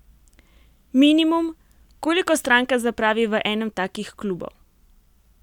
Minimum, koliko stranka zapravi v enem takih klubov?